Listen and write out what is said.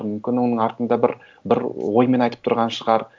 мүмкін оның артында бір оймен айтып тұрған шығар